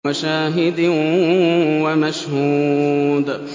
وَشَاهِدٍ وَمَشْهُودٍ